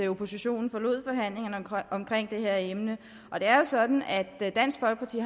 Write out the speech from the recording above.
oppositionen forlod forhandlingerne omkring det her emne det er jo sådan at dansk folkeparti